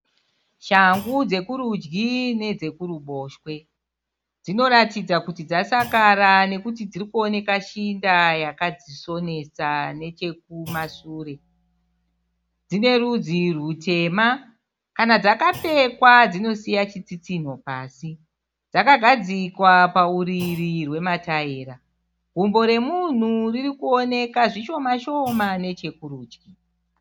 Shangu dzekurudyi nedzekuruboshwe. Dzinoratidza kuti dzasakara nekuti dziri kuoneka shinda yakadzisonesa nechekumasure. Dzine rudzi rutema. Kana dzakapfekwa dzinosiya chitsitsinho pasi. Dzakagadzikwa pauriri hwemataira. Gumbo remunhu riri kuonekwa zvishoma -shoma nechekurudyi.